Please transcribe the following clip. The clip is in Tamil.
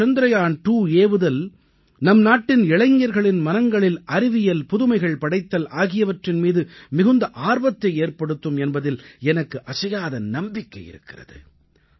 இந்த சந்திரயான் 2 ஏவுதல் நம் நாட்டின் இளைஞர்களின் மனங்களில் அறிவியல் புதுமைகள் படைத்தல் ஆகியவற்றின் மீது மிகுந்த ஆர்வத்தை ஏற்படுத்தும் என்பதில் எனக்கு அசையாத நம்பிக்கை இருக்கிறது